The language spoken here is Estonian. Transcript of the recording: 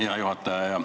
Hea juhataja!